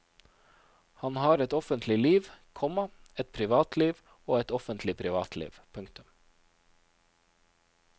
Han har et offentlig liv, komma et privatliv og et offentlig privatliv. punktum